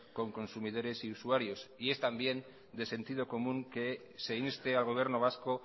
con consumidores y usuarios también es de sentido común que se inste al gobierno vasco